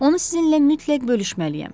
Onu sizinlə mütləq bölüşməliyəm.